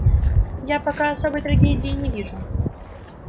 я пока особой трагедии не вижу